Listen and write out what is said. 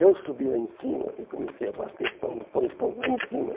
Eu subi lá em cima e comecei a bater, pão, pão, pão, lá em cima.